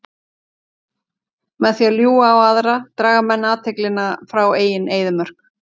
Með því að ljúga á aðra draga menn athyglina frá eigin eyðimörk.